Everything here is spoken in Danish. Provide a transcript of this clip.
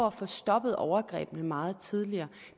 at få stoppet overgrebet meget tidligere